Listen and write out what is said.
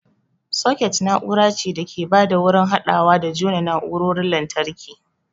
Soket na'ura ce da ke ba da wurin haɗawa da jona na'urarorin lantarki.